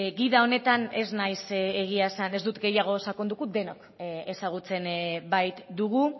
gida honetan ez dut gehiago sakonduko denok ezagutzen baitugu